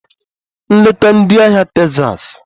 Nleta ndị ahịa Texas!